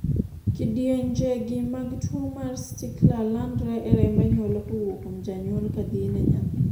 kidienje gi mag tuo mar stickler landre e remb anyuola kowuok kuom janyuol kadhi ne nyathi